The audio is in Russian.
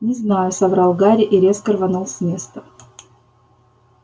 не знаю соврал гарри и резко рванул с места